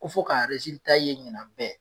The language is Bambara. Ko fo k'a ye ɲinan bɛ